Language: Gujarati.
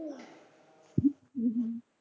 હમ હમ